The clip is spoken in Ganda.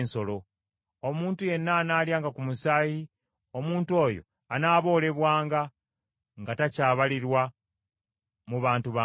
Omuntu yenna anaalyanga ku musaayi, omuntu oyo anaaboolebwanga, nga takyabalirwa mu bantu be.’ ”